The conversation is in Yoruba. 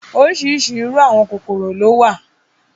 Oríṣiríṣi irú “àwọn kòkòrò ” ló wà.